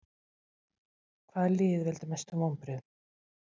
Hvaða lið veldur mestum vonbrigðum?